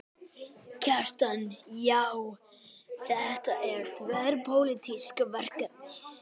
Kjartan: Já, þetta er þverpólitískt verkefni?